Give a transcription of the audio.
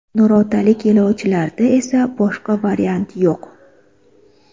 Nurotalik yo‘lovchilarda esa boshqa variant yo‘q.